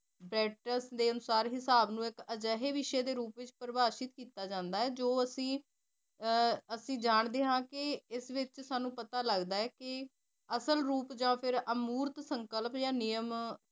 ਹਿਸਾਬ ਨੂੰ ਇੱਕ ਅਜਿਹੇ ਵਿਸ਼ੇ ਦੇ ਪ੍ਰਭਾਸ਼ਿਤ ਕੀਤਾ ਜਾਂਦਾ ਜੋ ਅਸੀ ਅਸੀ ਜਾਣਦੇ ਹਾ ਕਿ ਇਸ ਵਿੱਚ ਸਾਨੂੰ ਪਤਾ ਲੱਗਦਾ ਹੈ ਕਿ ਅਸਲ ਰੂਪ ਜਾ ਫਿਰ ਨੀਅਮ